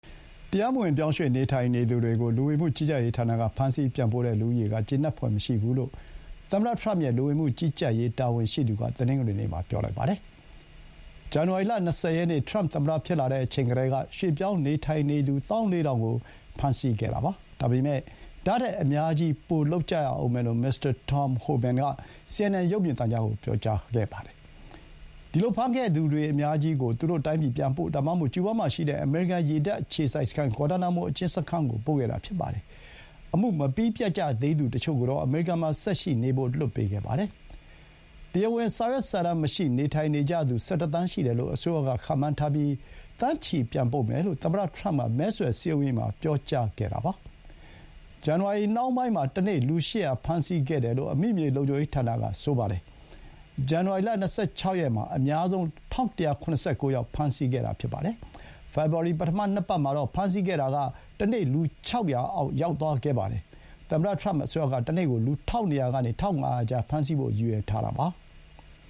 တရားမဝင် ပြောင်းရွှေ့နေထိုင်နေသူတွေကို လူဝင်မှုကြီးကြပ်ရေးဌာနက ဖမ်းဆီး ပြန်ပို့တဲ့ လူဦးရေက ကျေနပ်ဖွယ်မရှိဘူးလို့ သမ္မတထရမ့်ရဲ့ လူဝင်မှုကြီးကြပ်ရေး တာဝန်ရှိသူက တနင်္ဂနွေနေ့မှာ ပြောလိုက်ပါတယ်။ ဇန်နဝါရီလ ၂၀ ရက်နေ့ ထရမ့် သမ္မတဖြစ်လာတဲ့ အချိန်ကတည်းကဆိုရင် ရွှေ့ပြောင်းနေထိုင်နေသူ ၁၄,၀၀၀ ကို ဖမ်းဆီးခဲ့ပြီးပါပြီ။ ဒါပေမဲ့ ဒါ့ထက် အများကြီး ပိုလုပ်ကြရဦးမယ်လို့ မစ္စတာ Tom Homan က စီအင်န်အင်န် ရုပ်မြင်သံကြားဌာနကို ပြောခဲ့တာပါ။ ဒီလို ဖမ်းခဲ့သူတွေ အများကြီးကို သူတို့တိုင်းပြည် ပြန်ပို့ ဒါမှမဟုတ် ကျူးဘားမှာရှိတဲ့ အမေရိကန် ရေတပ် အခြေစိုက်စခန်း ဂွါတာနာမို အကျဥ်းစခန်းကို ပို့ခဲ့တာပါ။ အမှု မပြီးပြတ်သေးကြသူ တချို့ကိုတော့ အမေရိကန်မှာ ဆက်ရှိနေဖို့ လွှတ်ပေးခဲ့ပါတယ်။ တရားဝင် စာရွက်စာတမ်းမရှိဘဲ နေထိုင်နေကြသူ ၁၁ သန်းရှိတယ်လို့ အစိုးရက ခန့်မှန်းထားပြီး သန်းချီ ပြန်ပို့မယ်လို့ သမ္မတထရမ့်က မဲဆွယ်စည်းရုံးရေးမှာ ပြောကြားခဲ့ပါတယ်။ ဇန်နဝါရီ နှောင်းပိုင်းမှာ တနေ့ လူ ၈၀၀ ဖမ်းဆီးခဲ့တယ်လို့ အမိမြေလုံခြုံရေးဌာနက ပြောပါတယ်။ ဇန်နဝါရီ ၂၆ မှာ အများဆုံး ၁,၁၇၉ ယောက် ဖမ်းဆီးခဲ့တာပါ။ ဖေဖော်ဝါရီ ပထမ ၂ ပတ်မှာတော့ ဖမ်းဆီးတာ တနေ့ လူ ၆၀၀ အောက် ရောက်သွားခဲ့ပါတယ်။ သမ္မတထရမ့် အစိုးရက တနေ့ကို လူ ၁,၂၀၀ ကနေ ၁,၅၀၀ ကြား ဖမ်းဆီးဖို့ ရည်ရွယ်ထားတာပါ။